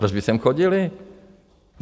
Proč by sem chodili?